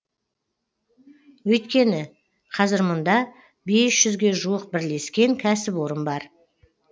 өйткені қазір мұнда бес жүзге жуық бірлескен кәсіпорын бар